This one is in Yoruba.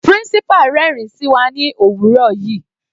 Principal rẹ́rin sí wa ní òwúrọ̀ yìí.